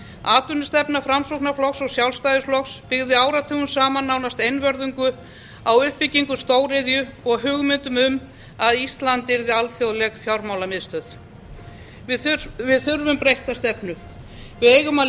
atvinnustefna framsóknarflokks og sjálfstæðisflokks byggði áratugum saman nánast einvörðungu á uppbyggingu stóriðju og hugmyndum um að ísland yrði alþjóðleg fjármálamiðstöð við þurfum breytta stefnu við eigum að